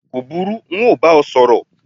ko buru, n ọ bá ọ sorí